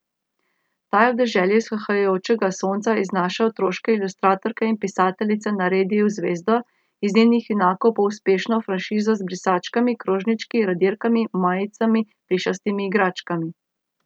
Ta je v deželi vzhajajočega sonca iz naše otroške ilustratorke in pisateljice naredil zvezdo, iz njenih junakov pa uspešno franšizo z brisačkami, krožnički, radirkami, majicami, plišastimi igračkami ...